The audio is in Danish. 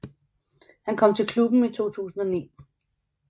Han kom til klubben i 2009